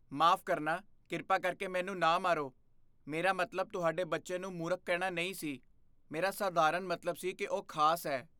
ਮਾਫ਼ ਕਰਨਾ, ਕਿਰਪਾ ਕਰਕੇ ਮੈਨੂੰ ਨਾ ਮਾਰੋ। ਮੇਰਾ ਮਤਲਬ ਤੁਹਾਡੇ ਬੱਚੇ ਨੂੰ ਮੂਰਖ ਕਹਿਣਾ ਨਹੀਂ ਸੀ। ਮੇਰਾ ਸਧਾਰਨ ਮਤਲਬ ਸੀ ਕਿ ਉਹ ਖਾਸ ਹੈ।